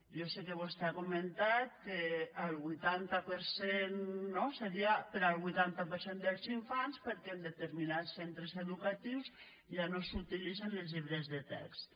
jo sé que vostè ha comentat que el vuitanta per cent no seria per al vuitanta per cent dels infants perquè en determinats centres educatius ja no s’utilitzen els llibres de text